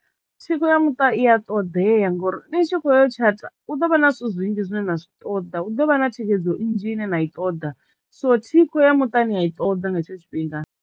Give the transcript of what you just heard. Thikho ya muṱa i a ṱoḓea ngori ni tshi kho yo tshata hu ḓo vha na zwithu zwinzhi zwine na zwi ṱoḓa hu ḓo vha na thikhedzo nnzhi ine na i ṱoḓa so thikho ya muṱa ni a i ṱoḓa nga hetsho tshifhinga.